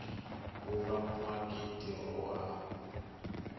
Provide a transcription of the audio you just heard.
ku va muaka tiko wa